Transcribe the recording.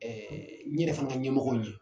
n ɲɛrɛ fana ɲɛmɔgɔ ɲɛ